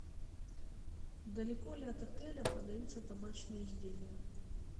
далеко ли от отеля продаются табачные изделия